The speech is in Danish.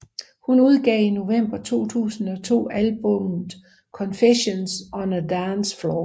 Hun udgav i november 2005 albummet Confessions on a Dance Floor